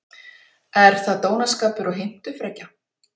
Er það dónaskapur og heimtufrekja?